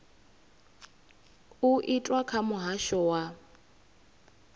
u itwa kha muhasho wa